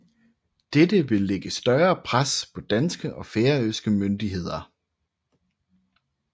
Dette ville lægge større pres på danske og færøske myndigheder